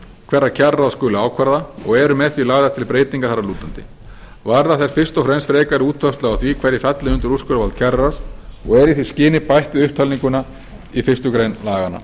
hverra kjararáð skuli ákvarða og eru með því lagðar til breytingar þar að lútandi varða þær fyrst og fremst frekari útfærslu á því hverjir falli undir úrskurðarvald kjararáðs og er í því skyni bætt við upptalninguna í fyrstu grein laganna